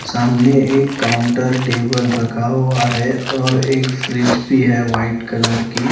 सामने एक counter table रखा हुआ है और एक फ्रिज भी है व्हाइट कलर की--